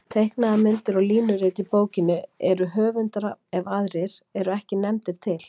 Teiknaðar myndir og línurit í bókinni eru höfundar ef aðrir eru ekki nefndir til.